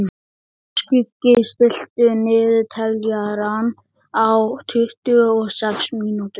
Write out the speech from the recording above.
Skuggi, stilltu niðurteljara á tuttugu og sex mínútur.